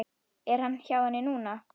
Er hann hjá henni núna?